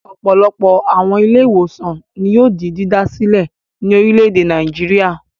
Ọ̀pọ̀lọpọ̀ àwọn ilé-ìwòsàn ni yóò di dídá sílẹ̀ ní orílẹ̀-èdè Nàìjíríà.